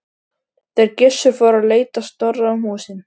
Þeir Gissur fóru að leita Snorra um húsin.